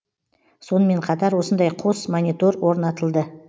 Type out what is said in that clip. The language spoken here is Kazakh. сонымен қатар осындай қос монитор орнатылды